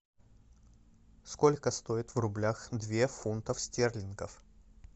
сколько стоит в рублях две фунтов стерлингов